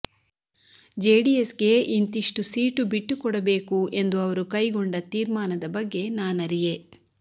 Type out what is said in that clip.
ಜೆಡಿಎಸ್ಗೆ ಇಂತಿಷ್ಟು ಸೀಟು ಬಿಟ್ಟುಕೊಡಬೇಕು ಎಂದು ಅವರು ಕೈಗೊಂಡ ತೀರ್ಮಾನದ ಬಗ್ಗೆ ನಾನರಿಯೆ